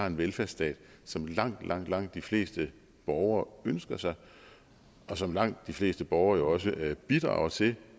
en velfærdsstat som langt langt langt de fleste borgere ønsker sig og som langt de fleste borgere jo også bidrager til